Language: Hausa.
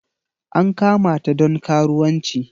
An kamata don karuwanci.